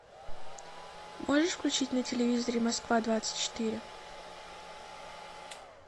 можешь включить на телевизоре москва двадцать четыре